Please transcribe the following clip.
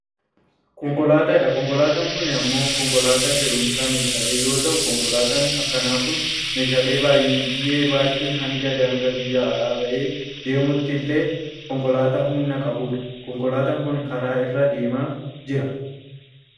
Konkolaataa, Konkolaataan kun ammoo konkolaataa fe'umsa meeshaalee yoo ta'u konkolaataan akkanaa kun meeshaalee baayyee baachuun hanga daangaa biyya ala bahee deemuutti illee konkolaataa humna qabudhu. konkolaataan kun karaaa irra deemaa jira.